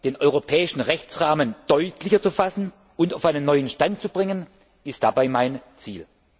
Den europäischen Rechtsrahmen deutlicher zu fassen und auf einen neuen Stand zu bringen, ist dabei mein Ziel.